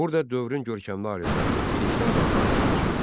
Burda dövrün görkəmli alimləri, bilikli adamları çalışırdı.